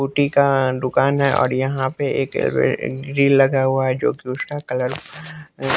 scooty का दुकान है और यहां पे एक ड्रिल लगा हुआ है जो कि उसका कलर --